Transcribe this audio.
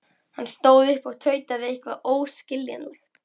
Hann stóð upp og tautaði eitthvað óskiljanlegt.